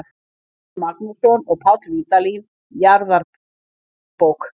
Árni Magnússon og Páll Vídalín: Jarðabók.